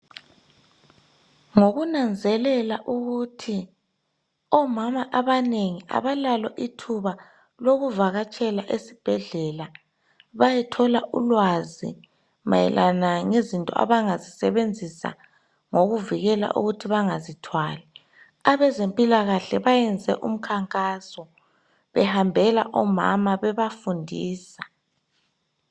Ngokunanzelela ukuthi omama abanengi abalalo ithuba lokuvakatshela esibhedlela. Bayethola ulwazi mayelana, ngezinto abangazisebenzisa, ngokuvikela ukuthi bangazithwali. Abezempilakahle, bayenze ukhankaso, behambela omama, bebafundisa.